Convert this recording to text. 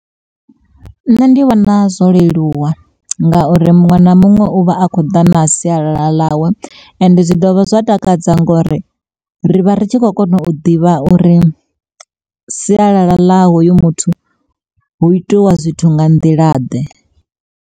Nṋe ndi vhona zwo leluwa ngauri muṅwe na muṅwe uvha a kho ḓa na sialala ḽawe, ende zwi dovha zwa takadza ngori rivha ritshi kho kona u ḓivha uri sialala ḽa hoyo muthu hu itiwa zwithu nga nḓila ḓe.